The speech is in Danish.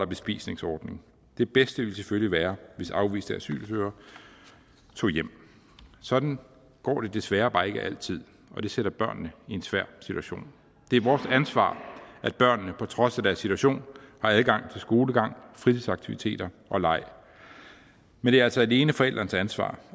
bespisningsordning det bedste ville selvfølgelig være hvis afviste asylsøgere tog hjem sådan går det desværre bare ikke altid og det sætter børnene i en svær situation det er vores ansvar at børnene på trods af deres situation har adgang til skolegang fritidsaktiviteter og leg men det er altså alene forældrenes ansvar